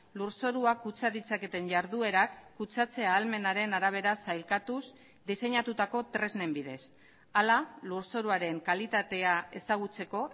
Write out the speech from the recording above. lurzoruak kutsa ditzaketen jarduerak kutsatze ahalmenaren arabera sailkatuz diseinatutako tresnen bidez hala lurzoruaren kalitatea ezagutzeko